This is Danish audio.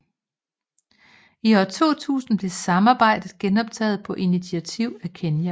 I år 2000 blev samarbejdet genoptaget på initiativ af Kenya